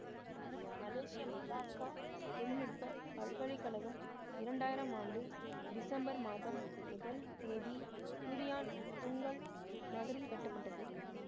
எனும் மலேசிய மலாக்கா தொழில் நுட்ப பல்கலை கழகம் இரண்டு ஆயிரம் ஆண்டு டிசம்பர் மாதம் முதல் தேதி டுரியான் துங்கல் நகரில் கட்டப்பட்டது